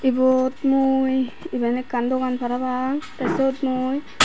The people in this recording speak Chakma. eyor mui eben ekan dogan parapang tay swot mui.